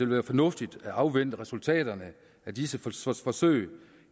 være fornuftigt at afvente resultaterne af disse forsøg